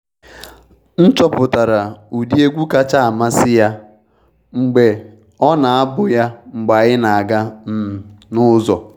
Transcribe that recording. M chọpụtara ụdị egwu kacha amasị ya mgbe ọ na-abu ya mgbe anyị na aga um n'ụzọ.